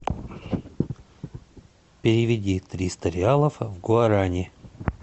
переведи триста реалов в гуарани